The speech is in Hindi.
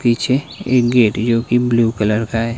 पीछे एक गेट जो की ब्लू कलर का है।